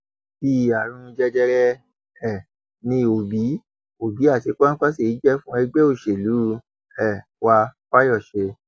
bíi àrùn jẹjẹrẹ um ni òbí òbí àti kwanse jẹ fún ẹgbẹ òṣèlú um wa fayose